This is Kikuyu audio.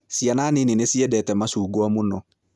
Ciana nini nĩ ciendete macungwa muno